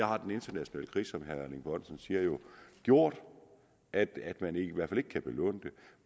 har den internationale krise som herre erling bonnesen siger jo gjort at man i hvert fald ikke kan belåne